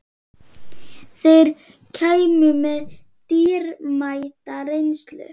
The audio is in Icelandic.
Þeir kæmu með dýrmæta reynslu